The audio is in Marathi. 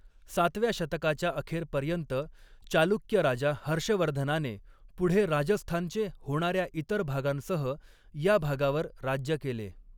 सातव्या शतकाच्या अखेरपर्यंत चालुक्य राजा हर्षवर्धनाने पुढे राजस्थानचे होणार्या इतर भागांसह या भागावर राज्य केले.